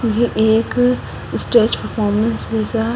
एक stretch performance जैसा --